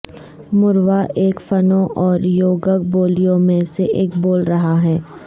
Mordva ایک Finno اور یوگک بولیوں میں سے ایک بول رہا ہے